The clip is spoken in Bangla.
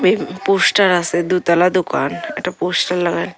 এই পোস্টার আসে দুতলা দোকান একটা পোস্টার লাগায়--